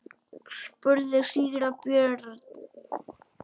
spurði síra Björn.